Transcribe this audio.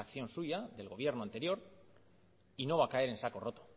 acción suya del gobierno anterior y no va a caer en saco roto